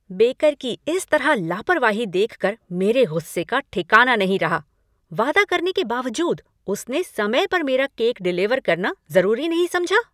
Baker की इस तरह लापरवाही देखकर मेरे गुस्से का ठिकाना नहीं रहा, वादा करने के बावजूद उसने समय पर मेरा केक डिलीवर करना ज़रूरी नहीं समझा।